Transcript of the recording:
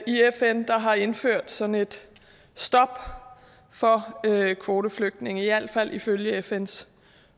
i fn der har indført sådan et stop for kvoteflygtninge i alt fald ifølge fns